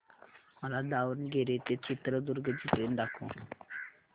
मला दावणगेरे ते चित्रदुर्ग ची ट्रेन दाखव